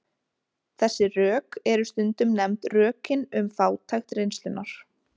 Þessi rök eru stundum nefnd rökin um fátækt reynslunnar.